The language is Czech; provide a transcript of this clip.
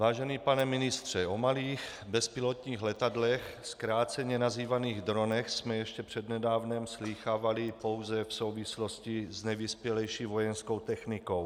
Vážený pane ministře, o malých bezpilotních letadlech, zkráceně nazývaných dronech, jsme ještě přednedávnem slýchávali pouze v souvislosti s nejvyspělejší vojenskou technikou.